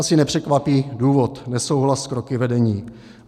Asi nepřekvapí důvod - nesouhlas s kroky vedení.